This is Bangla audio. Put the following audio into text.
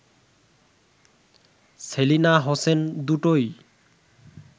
সেলিনা হোসেন: দুটোই